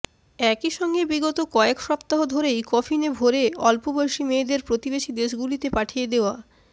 একইসঙ্গে বিগত কয়েক সপ্তাহ ধরেই কফিনে ভরে অল্পবয়সী মেয়েদের প্রতিবেশী দেশগুলিতে পাঠিয়ে দেওয়া